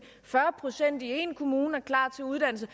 fyrre procent i én kommune er klar til uddannelse